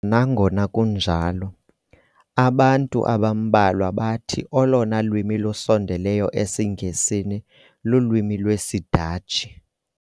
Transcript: Kodwa nangona kunjalo, abantu abambalwa bathi olona lwimi lusondeleyo esiNgesini lulwimi lwesiDatshi.